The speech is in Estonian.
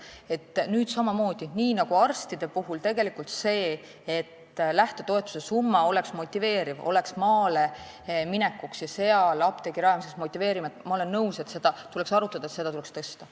Ma olen nõus, et samamoodi nagu arstide puhul, selleks et lähtetoetus oleks maale minekuks ja seal apteegi rajamiseks motiveeriv, tuleks nüüd arutada selle summa tõstmist.